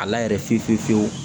A la yɛrɛ fiyewu fiyewu